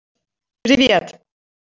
привет